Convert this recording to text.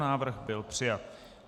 Návrh byl přijat.